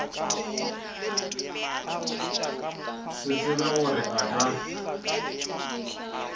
se tsebe gore a ka